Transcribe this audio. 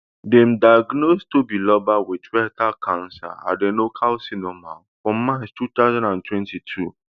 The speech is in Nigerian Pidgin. dem diagnose tobiloba wit rectal cancer adenocarcinoma for march two thousand and twenty-two